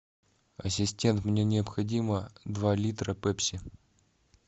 ассистент мне необходимо два литра пепси